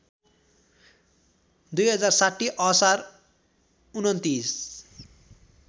२०६० असार २९